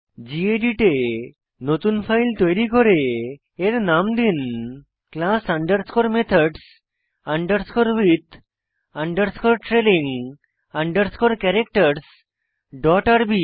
gedit এ নতুন file তৈরি করে এর নাম দিন class underscore methods underscore with underscore trailing underscore ক্যারাক্টারসহ ডট আরবি